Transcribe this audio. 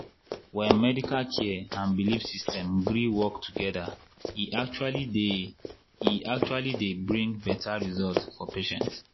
when medical care and belief system gree work together e actually dey e actually dey bring better result for patients.